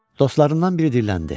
Dostlarından biri dilləndi.